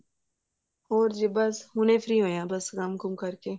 ਹੋਰ ਜੀ ਬੱਸ ਹੁਣੇ free ਹੋਏ ਹਾਂ ਕੰਮ ਕੁੰਮ ਕਰ ਕਰਕੇ